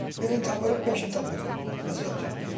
Birini tapırıq, beşi tapırıq.